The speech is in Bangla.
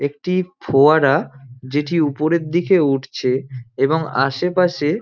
একটি ফোয়ারা যেটি ওপরের দিকে উঠছে এবং আসে পাশে--